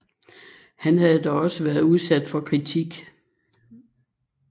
Han har dog også været udsat for kritik